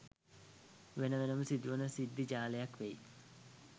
වෙන වෙනම සිදු වන සිද්ධි ජාලයක් වෙයි